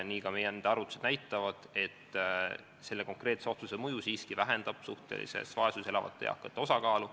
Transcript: Ka meie enda arvutused näitavad, et selle konkreetse otsuse mõju siiski vähendab suhtelises vaesuses elavate eakate osakaalu.